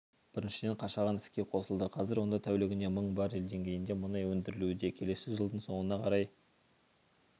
біріншіден қашаған іске қосылды қазір онда тәулігіне мың баррел деңгейінде мұнай өндірілуде келесі жылдың соңына қарай